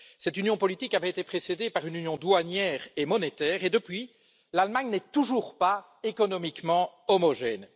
Cette union politique avait été précédée par une union douanière et monétaire et, depuis, l'Allemagne n'est toujours pas économiquement homogène.